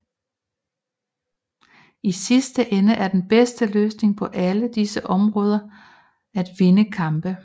I sidste ende er den bedste løsning på alle disse områder er at vinde kampe